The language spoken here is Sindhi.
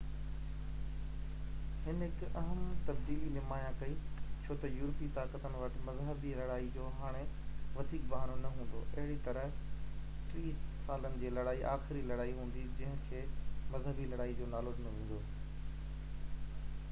هن هڪ اهم تبديلي نمايان ڪئي ڇو تہ يورپي طاقتن وٽ مذهبي لڙائين جو هاڻي وڌيڪ بهانو نہ هوندو اهڙي طرح ٽيهہ سالن جي لڙائي آخري لڙائي هوندي جننهن کي مذهبي لڙائي جو نالو ڏنو ويندو